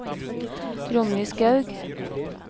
Ronny Skaug